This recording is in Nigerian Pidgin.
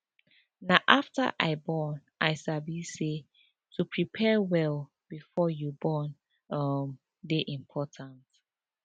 na after i born i sabi say to prepare well before you born um dey important